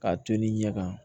K'a to ni ɲɛ kan